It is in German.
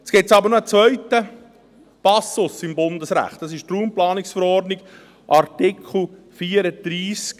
Jetzt gibt es aber noch einen zweiten Passus im Bundesrecht, in der Raumplanungsverordnung (RPV), Artikel 34a.